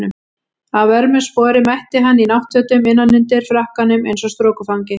Að vörmu spori mætti hann í náttfötum innan undir frakkanum eins og strokufangi.